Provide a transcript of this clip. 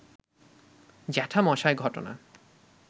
জ্যাঠামশায় ঘটনা